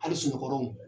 Hali sunɔgɔw